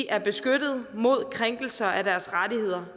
er beskyttet mod krænkelser af deres rettigheder